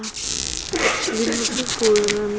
ḽi no tupula na midzi